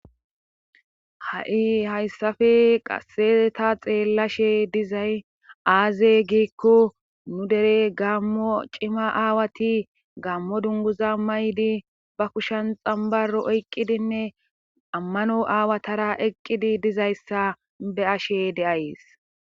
ha7i hayssafe qaseta xeellashe dizay aaze giikko nu dere gammo cima aawati gammo dunguza may7di ba kushan xambaro oyqqidinne ammano aawatara eqqidi dizayssa be ashe deays